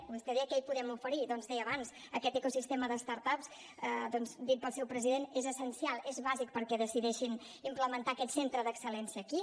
vostè deia què hi podem oferir doncs ho deia abans aquest ecosistema de start ups dit pel seu president és essencial és bàsic perquè decideixin implementar aquest centre d’excel·lència aquí